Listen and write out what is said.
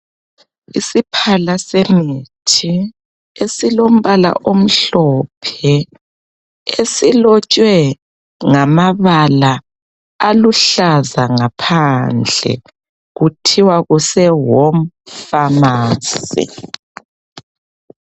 Isiphala semithi esilombala omhlophe esilotshwe ngamabala aluhlaza ngaphandle kuthiwa kuse Home pharmacy .